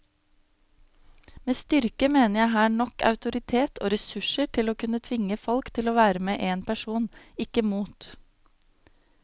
Med styrke mener jeg her nok autoritet og ressurser til å kunne tvinge folk til å være med en person, ikke mot.